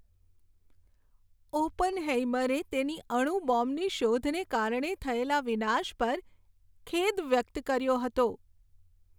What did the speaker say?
ઓપનહેઇમરે તેની અણુ બોમ્બની શોધને કારણે થયેલા વિનાશ પર ખેદ વ્યક્ત કર્યો હતો.